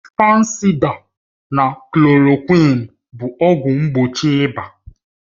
Fansida na klòròkwịn bụ ọgwụ mgbochi ịba